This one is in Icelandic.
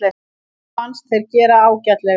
Mér fannst þeir gera ágætlega.